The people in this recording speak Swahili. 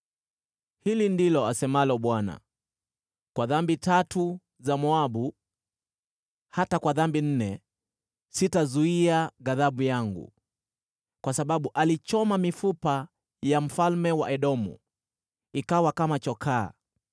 Hili ndilo asemalo Bwana : “Kwa dhambi tatu za Moabu, hata kwa dhambi nne, sitaizuia ghadhabu yangu. Kwa sababu alichoma mifupa ya mfalme wa Edomu, ikawa kama chokaa.